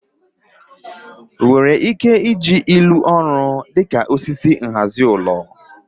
nwere ike ije ilu orui dị ka osisi nhazi ulo?